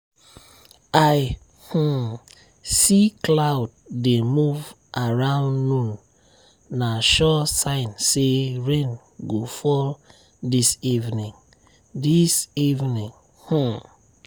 i um see cloud dey move around noon na sure sign say rain go fall this evening. this evening. um